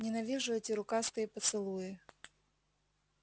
ненавижу эти рукастые поцелуи